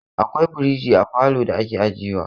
Akwai firiji a falo da ake ajiye wa.